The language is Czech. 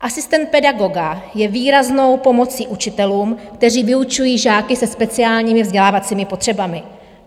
Asistent pedagoga je výraznou pomocí učitelům, kteří vyučují žáky se speciálními vzdělávacími potřebami.